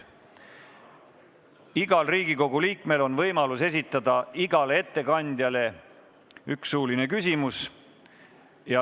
Igal Riigikogu liikmel on võimalus esitada igale ettekandjale üks suuline küsimus.